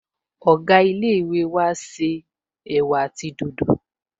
Ọ̀gá ilé-ìwé wa n ṣe ẹ̀wà àti dòdò